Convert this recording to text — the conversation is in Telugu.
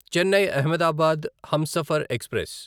చెన్నై అహ్మదాబాద్ హంసఫర్ ఎక్స్ప్రెస్